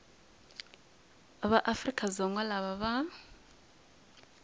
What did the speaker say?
va afrika dzonga lava va